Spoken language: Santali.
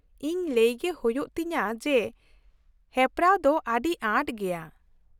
ᱼᱤᱧ ᱞᱟᱹᱭ ᱜᱮ ᱦᱩᱭᱩᱜ ᱛᱤᱧᱟᱹ ᱡᱮ ᱦᱮᱯᱨᱟᱣ ᱫᱚ ᱟᱹᱰᱤ ᱟᱸᱴ ᱜᱮᱭᱟ ᱾